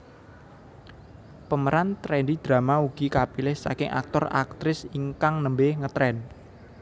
Pemeran trendy drama ugi kapilih saking aktor aktris ingkang nembe ngetren